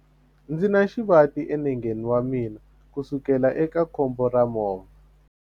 Ndzi na xivati enengeni wa mina kusukela eka khombo ra movha.